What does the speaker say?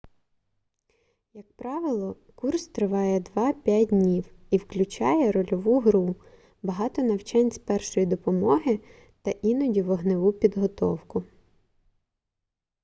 як правило курс триває 2-5 днів і включає рольову гру багато навчань з першої допомоги та іноді вогневу підготовку